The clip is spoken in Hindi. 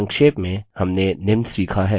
संक्षेप में हमने निम्न सीखा हैः